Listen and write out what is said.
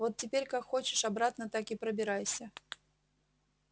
вот теперь как хочешь обратно так и пробирайся